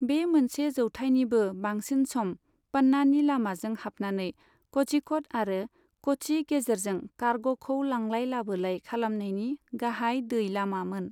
बे मोनसे जौथायनिबो बांसिन सम प'न्नानि लामाजों हाबनानै क'झिक'ड आरो क'च्चि गेजेरजों कारग'खौ लांलाय लाबोलाय खालामनायनि गाहाय दै लामामोन।